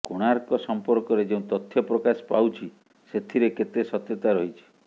କୋଣାର୍କ ସଂପର୍କରେ ଯେଉଁ ତଥ୍ୟ ପ୍ରକାଶ ପାଉଛି ସେଥିରେ କେତେ ସତ୍ୟତା ରହିଛି